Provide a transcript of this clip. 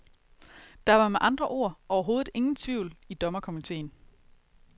Der var med andre ord overhovedet ingen tvivl i dommerkomiteen.